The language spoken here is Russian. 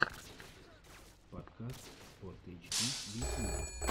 подкаст спортэйчди в ютьюбе